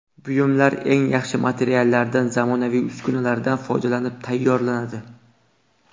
Buyumlar eng yaxshi materiallardan zamonaviy uskunalardan foydalanib tayyorlanadi.